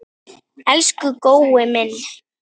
Elsku Gói minn.